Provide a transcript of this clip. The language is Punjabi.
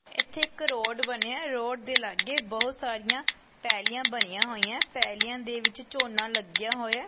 ਇਥੇ ਇੱਕ ਰੋਡ ਬਣਿਆ ਰੋਡ ਦੇ ਲਾਗੇ ਬਹੁਤ ਸਾਰੀਆਂ ਪਹਿਲੀਆਂ ਬਣੀਆਂ ਹੋਈਆਂ ਪਹਿਲੀਆਂ ਦੇ ਵਿੱਚ ਝੋਨਾ ਲੱਗਿਆ ਹੋਇਆ।